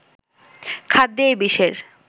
খাদ্যে এ বিষের